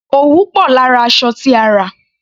Òwú pò lára aṣọ tí a rà.